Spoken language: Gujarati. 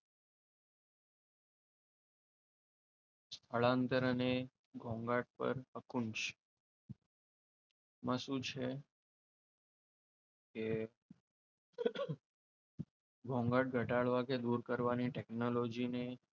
સ્થળાંતર અને ઘોંઘાટ પર અંકુશ, શું છે એ એ ઘોંઘાટ ઘટાડવાની કે દૂર કરવાની ટેકનોલોજીની,